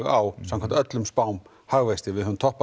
á samkvæmt öllum spám hagvexti við höfum toppað